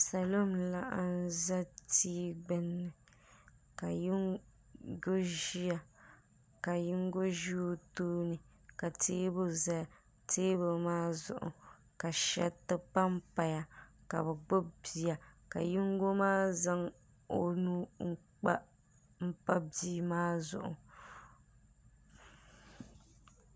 salo n laɣam ʒɛ tia gbunni ka yinga ʒiya kayinga ʒɛ o tooni ka teebuli ʒɛya teebuli maa zuɣu ka shɛriti panpaya ka bi gbubi bia ka yinga maa zaŋ o nuu n pa bia maa zuɣu